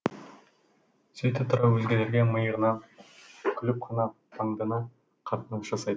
сөйте тұра өзгелерге миығынан күліп қана паңдана қатынас жасайтын